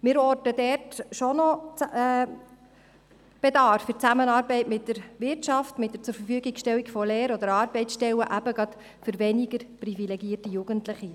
Wir orten dort schon noch Bedarf, bei der Zusammenarbeit mit der Wirtschaft mit der Zurverfügungstellung von Lehr- oder Arbeitsstellen, gerade für weniger privilegierte Jugendliche.